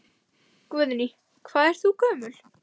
Guðný: Hvað ert þú gömul?